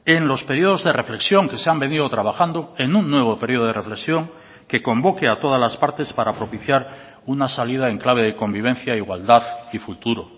en los periodos de reflexión que se han venido trabajando en un nuevo periodo de reflexión que convoque a todas las partes para propiciar una salida en clave de convivencia igualdad y futuro